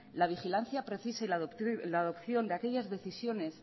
la vigilancia precisa y la adopción de aquellas decisiones